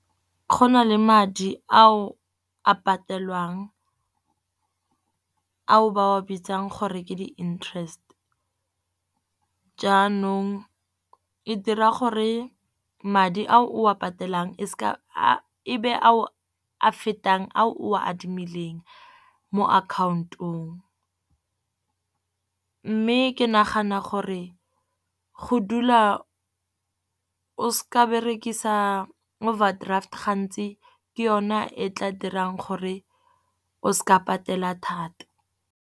Go na le madi a o a patelwang a o ba o bitsang gore ke di-interest. Jaanong e dira gore madi a o a patelang ebe a o a fetang a o a adimileng mo account-ong. Mme ke nagana gore go dula o seka wa berekisa overdraft gantsi ke yona e tla dirang gore o seka patela thata.